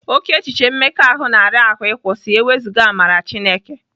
Oke echiche mmekọahụ na-ara ahụ ịkwụsị ewezuga amara Chineke.